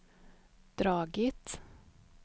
dragit